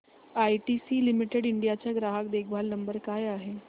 ITC limited India चा ग्राहक देखभाल नंबर काय आहे